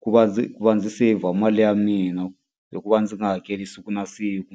ku va ndzi va ndzi seyivha mali ya mina hi ku va ndzi nga hakeli siku na siku.